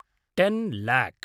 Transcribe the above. ten lock